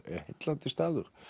heillandi staður